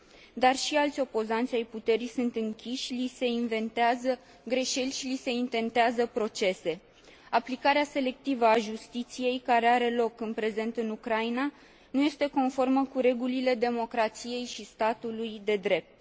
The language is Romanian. dar și alți membrii ai opoziției sunt închiși, li se inventează greșeli și li se intentează procese. Aplicarea selectivă a justiției, care are loc în prezent în Ucraina, nu este conformă cu regulile democrației și ale statului de drept.